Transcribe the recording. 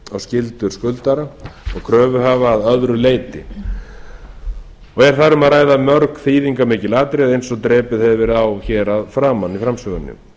og skyldur skuldara og kröfuhafa að öðru leyti er þar um að ræða mörg þýðingarmikil atriði eins og drepið hefur verið á hér að framan í framsögunni